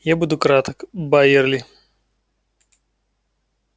я буду краток байерли